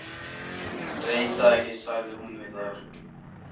Veit það ekki sagði hún við þær.